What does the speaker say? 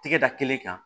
Tɛgɛ da kelen kan